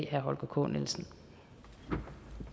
herre holger k nielsen